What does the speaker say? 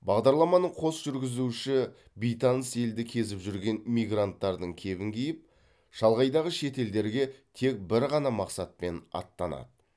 бағдарламаның қос жүргізушісі бейтаныс елді кезіп жүрген мигранттардың кебін киіп шалғайдағы шет елдерге тек бір ғана мақсатпен аттанады